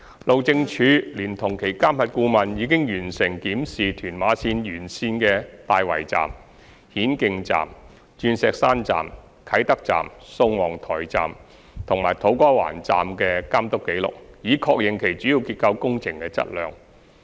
路政署聯同其監核顧問已完成檢視屯馬綫沿線的大圍站、顯徑站、鑽石山站、啟德站、宋皇臺站及土瓜灣站的監督紀錄，以確認其主要結構工程的質量。